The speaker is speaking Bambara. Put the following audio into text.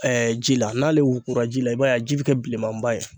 ji la n'ale wugura ji la i b'a ye a ji bɛ kɛ bilenmanba ye.